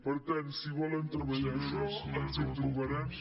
per tant si volen treballar això ens hi trobarem